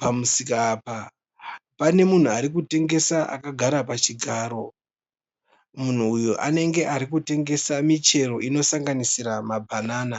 Pamusika apa pane munhu arikutengesa akagara pachigaro. Munhu uyu anenge arikutengesa michero inosanganisira mabhanana.